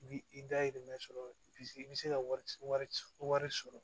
Bi i dayirimɛ sɔrɔ bi i bi se ka wari wari sɔrɔ